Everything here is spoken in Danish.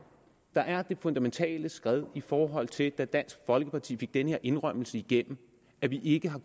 der er det fundamentale skred i forhold til da dansk folkeparti fik den her indrømmelse igennem at vi ikke har